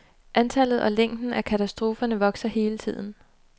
Antallet og længden af katastroferne vokser hele tiden.